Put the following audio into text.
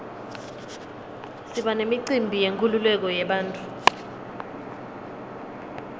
siba nemicimbi yenkululeko yebantfu